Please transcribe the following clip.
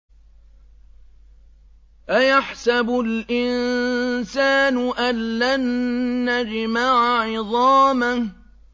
أَيَحْسَبُ الْإِنسَانُ أَلَّن نَّجْمَعَ عِظَامَهُ